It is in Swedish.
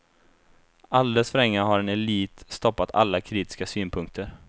Alldeles för länge har en elit stoppat alla kritiska synpunkter.